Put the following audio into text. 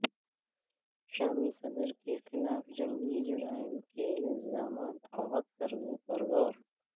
شامی صدر کے خلاف جنگی جرائم کے الزامات عائد کرنے پرغور